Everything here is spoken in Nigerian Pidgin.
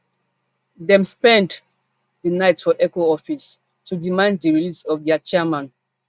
dem spend di night for eoco office to demand di release of dia chairman